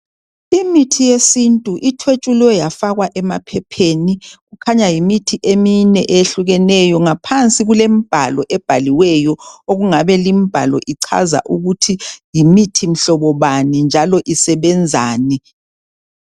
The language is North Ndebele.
Imithi yesintu ithwetshulwe yafakwa emaphepheni. Kukhanya yimithi emine eyehlukeneyo. Ngaphansi kulemibhalo ebhaliweyo okungabe limbhalo ichaza ukuthi yimithi mhlobo bani njalo isebenzani.